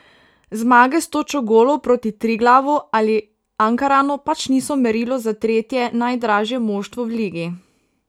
Zmage s točo golov proti Triglavu ali Ankaranu pač niso merilo za tretje najdražje moštvo v ligi.